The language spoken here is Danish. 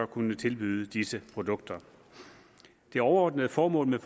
kunne tilbyde disse produkter det overordnede formål med